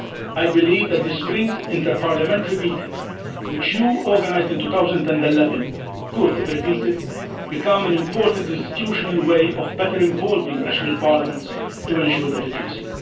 I believe that the spring interparliamentary meeting which you organised in 2011 could, if repeated, become an important institutional way of better involving national parliaments to ensure legitimacy.